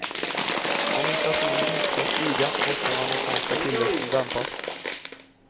Om inflationen inte ska stiga måste den amerikanska tillväxten dämpas.